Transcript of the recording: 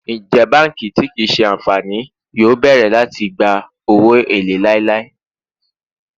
Njẹ banki ti kii ṣe anfani yoo bẹrẹ lati gba owo ele lailai?